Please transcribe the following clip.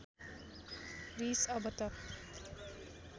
रिस अब त